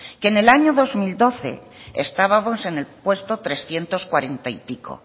que en el año dos mil doce estábamos en el puesto trescientos cuarenta y pico